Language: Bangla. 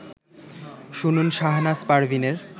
শুনুন শাহনাজ পারভীনের